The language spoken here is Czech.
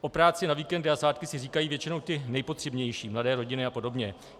O práci na víkendy a svátky si říkají většinou ti nejpotřebnější, mladé rodiny a podobně.